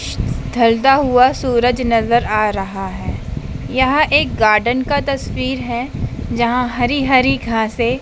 ढलता हुआ सूरज नजर आ रहा है यहां एक गार्डन का तस्वीर है जहां हरि हरि घासे--